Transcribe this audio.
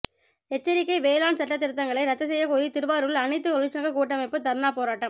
எச்சரிக்கை வேளாண் சட்டதிருத்தங்களை ரத்து செய்யக்கோரி திருவாரூரில் அனைத்து தொழிற்சங்க கூட்டமைப்பு தர்ணா போராட்டம்